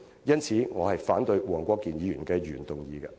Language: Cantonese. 因此，我反對黃國健議員的原議案。